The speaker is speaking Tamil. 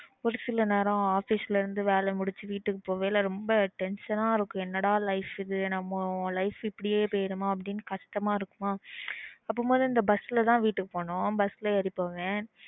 ஒரு சில நேரம் office ல இருந்து வேல முடிச்சிட்டு வீட்டுக்கு போற அப்போ ரொம்ப tension இருக்கும் என்ன ட life இதுன்னு நம்ம life இப்பிடியே போய்டுமா னு கஷ்டமா இருக்குமா அப்போ இந்த bus ல தான் வீட்டுக்கும் போகணும் bus ல ஏறி போவான்